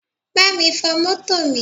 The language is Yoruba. Bámi fọ mọ́tò mi!